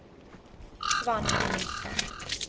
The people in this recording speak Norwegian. Svenn Nilssen